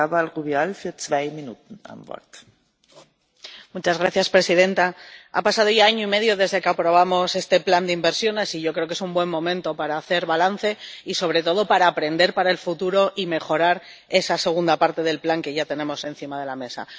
Señora presidenta, ha pasado ya año y medio desde que aprobamos este plan de inversiones y yo creo que es un buen momento para hacer balance y, sobre todo, para aprender para el futuro y mejorar esa segunda parte del plan, que ya tenemos encima de la mesa.